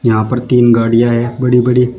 यहां पर तीन गाड़ियां हैं बड़ी बड़ी।